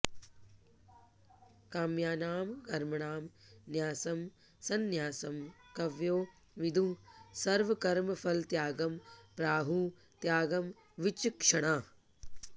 काम्यानां कर्मणां न्यासं सन्न्यासं कवयो विदुः सर्वकर्मफलत्यागं प्राहुः त्यागं विचक्षणाः